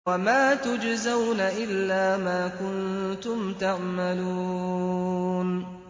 وَمَا تُجْزَوْنَ إِلَّا مَا كُنتُمْ تَعْمَلُونَ